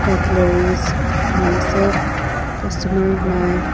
cutlares edu khan ase costomer nai.